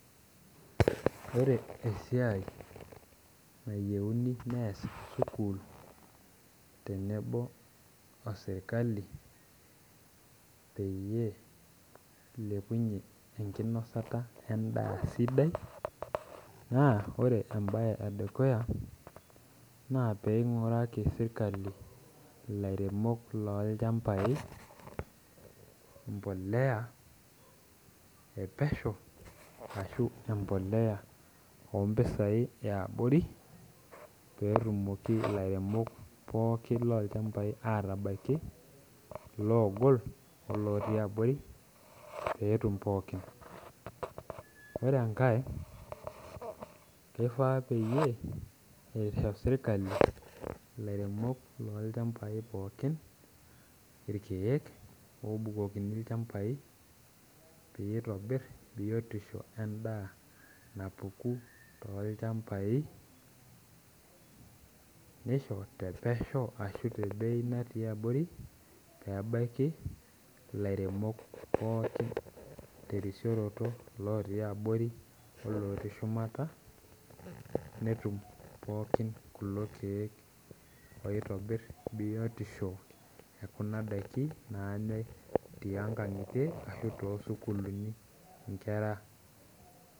Ore esiai nayieuni nees sukuul tenebo osirkali peyie ilepunyie enkinosata endaa sidai naa ore embaye edukuya naa peing'uraki sirkali ilairemok lolchambai mpoleya epesho ashu empoleya ompisai eabori petumoki ilairemok pookin lolchambai atabaiki loogol olotii abori petum pookin ore enkae keifaa peyie eisho sirkali ilairemok lolchambai pookin irkeek obukokini ilchambai peyie itobirr biotisho endaa napuku tolchambai nisho tepesho ashu te bei natii abori pebaiki ilairemok pookin terisioroto ilotii abori olotii shumata netum pookin kulo keek oitobirr biotisho ekuna daiki nanyae tiankang'itie ashu tosukuluni inkera.